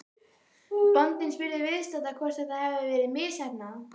Bóndinn spurði viðstadda hvort þetta hefði verið misheppnað.